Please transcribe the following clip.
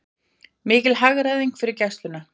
Mikil hagræðing fyrir Gæsluna